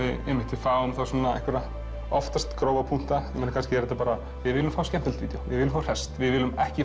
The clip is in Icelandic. við fáum einhverja oftast grófa punkta kannski er þetta bara við viljum fá skemmtilegt vídjó við viljum fá hresst við viljum ekki